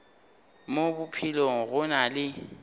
mo bophelong go na le